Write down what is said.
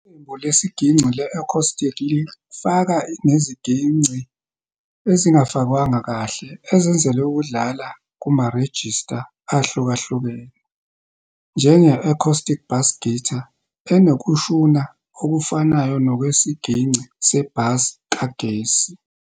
Iqembu lesigingci le-acoustic lifaka neziginci ezingafakwanga kahle ezenzelwe ukudlala kumarejista ahlukahlukene, njenge-acoustic bass guitar, enokushuna okufanayo nokwesigingci se-bass kagesi.